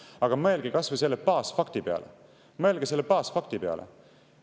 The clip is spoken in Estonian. Aga mõelge kas või selle baasfakti peale – mõelge selle baasfakti peale!